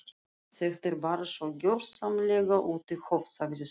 Þetta er bara svo gjörsamlega út í hött sagði Svein